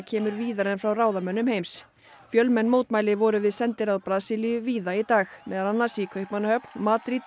kemur víðar en frá ráðamönnum heims fjölmenn mótmæli voru við sendiráð Brasilíu víða í dag meðal annars í Kaupmannahöfn Madrid